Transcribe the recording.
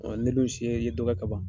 Ne dun si ye dɔ kɛ kaban.